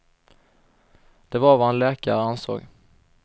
Det var vad en läkare ansåg.